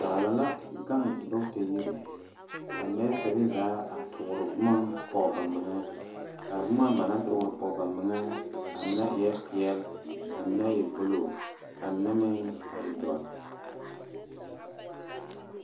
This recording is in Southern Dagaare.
Baala la gaŋ dɔɔtayiri kaa neseere zaa ture boma poɔ ba meŋa kaa boma ba naŋ ture poɔ ba meŋa a mine e peɛle kaa mine e buluu ka mine meŋ e doɔre.